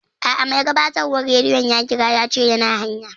A'a, mai gabatarwan radiyon ya ƙira yace yana hanya